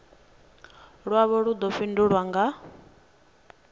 lwavho lu ḓo fhindulwa nga